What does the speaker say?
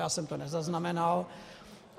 Já jsem to nezaznamenal.